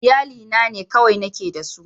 Iyalina ne kawai nake da su